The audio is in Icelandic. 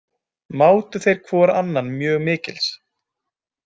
Mátu þeir hvor annan mjög mikils.